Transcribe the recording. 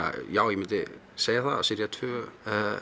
já ég myndi segja að sería tvö